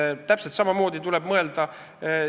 Siin tuleb täpselt samamoodi mõelda.